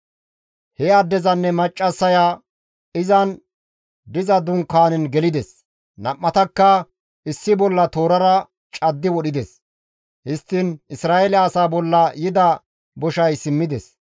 He addezinne maccassaya izan diza dunkaanen gelides; nam7atakka issi bolla toorara caddi wodhides; histtiin Isra7eele asaa bolla yida boshay simmides.